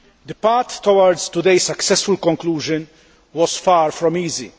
The path towards today's successful conclusion was far from easy.